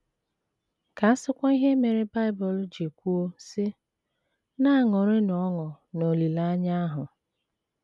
Ka a sịkwa ihe mere Bible ji kwuo, sị: “ Na - aṅụrịnụ ọṅụ n’olileanya ahụ. ”